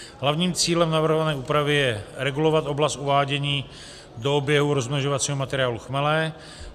Hlavním cílem navrhované úpravy je regulovat oblast uvádění do oběhu rozmnožovacího materiálu chmele.